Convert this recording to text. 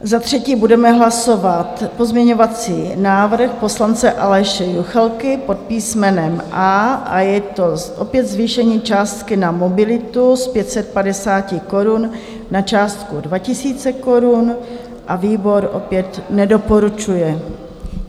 Za třetí budeme hlasovat pozměňovací návrh poslance Aleše Juchelky pod písmenem A, je to opět zvýšení částky na mobilitu z 550 korun na částku 2 000 korun a výbor opět nedoporučuje.